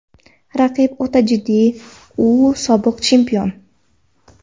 Raqib o‘ta jiddiy, u sobiq chempion.